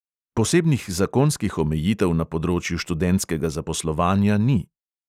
Posebnih zakonskih omejitev na področju študentskega zaposlovanja ni.